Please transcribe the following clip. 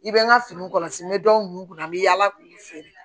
I bɛ n ka fini kɔlɔsi n bɛ dɔw kunna n bɛ yaala k'u feere